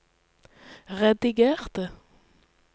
redigerte